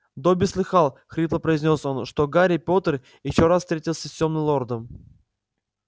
добби слыхал хрипло произнёс он что гарри поттер ещё раз встретился с тёмным лордом